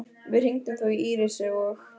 Við hringdum þó í Írisi og